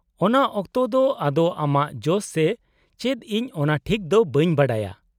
-ᱚᱱᱟ ᱚᱠᱛᱮ ᱫᱚ ᱟᱫᱳᱣ ᱟᱢᱟᱜ ᱡᱚᱥ ᱥᱮ ᱪᱮᱫ ᱤᱧ ᱚᱱᱟ ᱴᱷᱤᱠ ᱫᱚ ᱵᱟᱹᱧ ᱵᱟᱰᱟᱭᱟ ᱾